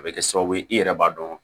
A bɛ kɛ sababu ye i yɛrɛ b'a dɔn